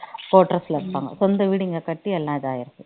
quarters ல இருப்பாங்க சொந்த வீடு இங்க கட்டி எல்லாம் இதா இருக்கு